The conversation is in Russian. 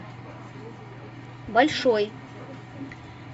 большой